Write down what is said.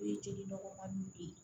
O ye jeli nɔgɔmaniw de ye